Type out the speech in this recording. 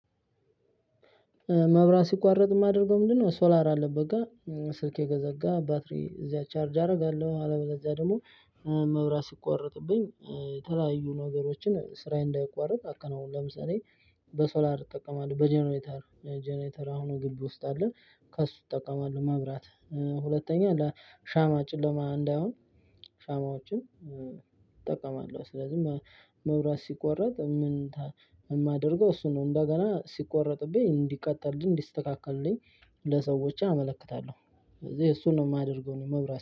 መብራት ሲቋረጥ የማደርገው ምንድነው? ሶላር አለበት ጋር ስልኬ ከዘጋ ባትሪ እዚያ ቻርጅ አደርጋለሁ አለበለዚያ ደግሞ። መብራት ሲቋረጥብኝ የተለያዩ ነገሮችን ስራዬን እንዳይቋረጥ አከናውናለሁ ለምሳሌ። በሶላር ትጠቀማለህ በጀነሬተር ጀነሬተር አሁኑ ግቢ ውስጥ አለን። ከሱ ትጠቀማለህ መብራት። ሁለተኛ ሻማ ጭለማ እንዳይሆን ሻማዎችን እጠቀማለሁ። ስለዚህ መብራት ሲቆረጥ የማደርገው እሱ ነው። እንደገና ሲቆረጥብኝ እንዲቀጠልልኝ እንዲስተካከሉኝ ለሰዎች አመለክታለሁ። እዚህ እሱን ነው የማደርገው ነው መብራት